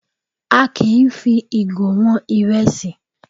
A kì í fi ìgò wọn ìrẹsì